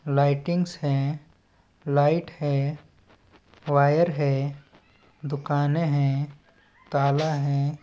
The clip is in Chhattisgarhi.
लाइटिंग्स है लाइट है वायर है दुकानें है ताला है।